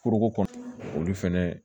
Foroko kɔnɔ olu fɛnɛ